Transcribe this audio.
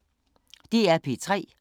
DR P3